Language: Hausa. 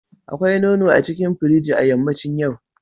Akwai nono a cikin firiji a yammacin yau.